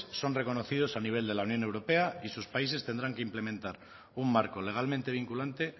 son reconocidos a nivel de la unión europa y sus países tendrán que implementar un marco legalmente vinculante